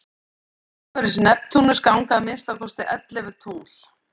umhverfis neptúnus ganga að minnsta kosti ellefu tungl